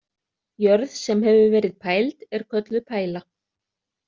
Jörð, sem hefur verið pæld er kölluð pæla.